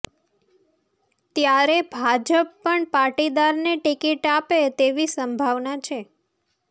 ત્યારે ભાજપ પણ પાટીદારને ટિકિટ આપે તેવી સંભાવના છે